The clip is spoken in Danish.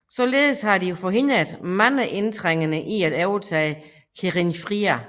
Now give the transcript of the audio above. Således har de forhindret mange indtrængende i at overtage Khénifra